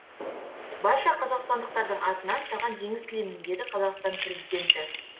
барша қазақстандықтардың атынан саған жеңіс тілеймін деді қазақстан президенті